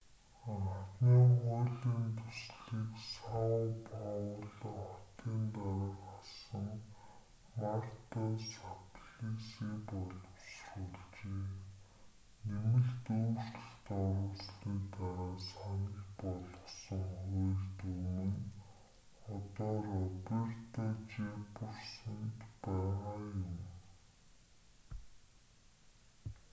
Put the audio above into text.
анхны хуулийн төслийг сао пауло хотын дарга асан марта саплиси боловсруулжээ нэмэлт өөрчлөлт оруулсаны дараа санал болгосон хууль дүрэм нь одоо роберто жефферсонд байгаа юм